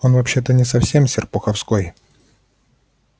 он вообще-то не совсем с серпуховской